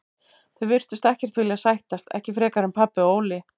Þau virtust ekkert vilja sættast, ekki frekar en pabbi og Óli.